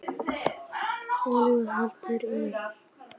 Ólíver, hækkaðu í hátalaranum.